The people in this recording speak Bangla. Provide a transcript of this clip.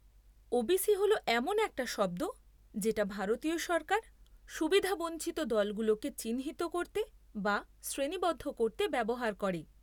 ওবিসি হল এমন একটা শব্দ যেটা ভারতীয় সরকার সুবিধাবঞ্চিত দলগুলোকে চিহ্নিত করতে বা শ্রেণিবদ্ধ করতে ব্যবহার করে।